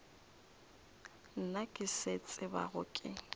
nna ke se tsebago ke